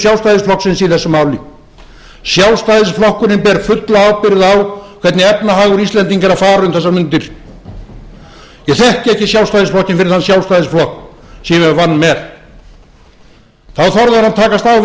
sjálfstæðisflokksins í þessu máli sjálfstæðisflokkurinn ber fulla ábyrgð á hvernig efnahagur íslendinga er að fara um þessar mundir ég þekki ekki sjálfstæðisflokkinn fyrir þann sjálfstæðisflokk sem ég vann með þá þorði hann að takast á við